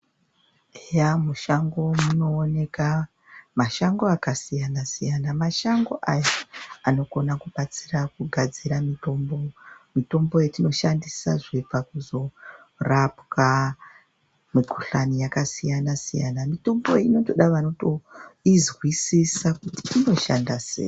Eya mushango munooneka mashango akasiyana-siyana, mashango aya anokona kubatsira kugadzira mitombo, mutombo yatinoshandisa zvinoda kuzorapwa mikhuhlani yakasiyana-siyana. Mitombo iyi inotoda vanoizwisisa kuti inoshanda sei.